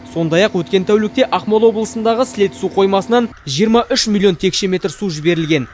сондай ақ өткен тәулікте ақмола облысындағы сілеті су қоймасынан жиырма үш миллион текше метр су жіберілген